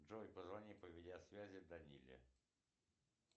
джой позвони по видеосвязи даниле